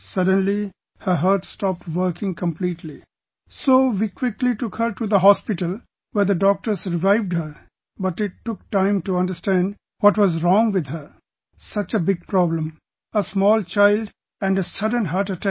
Suddenly her heart stopped working completely, so we quickly took her to the hospital, where the doctors revived her, but it took time to understand what was wrong with her... such a big problem; a small child and a sudden heart attack